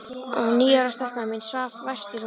Og níu ára stelpan mín svaf vært í rúminu.